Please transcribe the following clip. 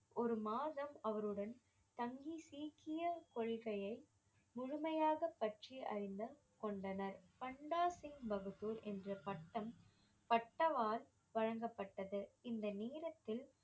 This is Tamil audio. ஒரு மாதம் அவருடன் தங்கி சீக்கிய கொள்கையை முழுமையாக பற்றி அறிந்த கொண்டனர் பண்டா சிங் பகதூர் என்ற பட்டம் பட்டவால் வழங்கப்பட்டது இந்த நேரத்தில்